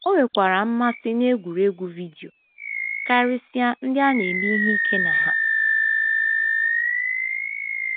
O nwekwara mmasị n’egwuregwu vidio, karịsịa ndị a na - eme ihe ike na ha.